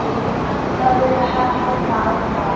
Lagt var hald á það.